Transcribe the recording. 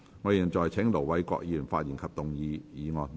我現在請盧偉國議員發言及動議議案。